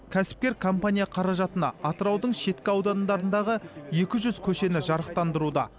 кәсіпкер компания қаражатына атыраудың шеткі аудандарындағы екі жүз көшені жарықтандыруда